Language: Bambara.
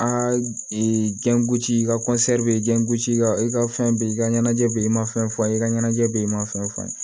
Aa ee jɛngosi i ka kɔnsɛri ye ɛn gosi ka i ka fɛn beyi i ka ɲɛnajɛ bɛ yen i ma fɛn f'a ye i ka ɲɛnajɛ bɛ yen i ma fɛn f'a ye